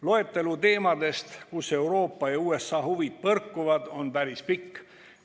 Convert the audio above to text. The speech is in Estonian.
Loetelu teemadest, kus Euroopa ja USA huvid põrkuvad, on päris pikk.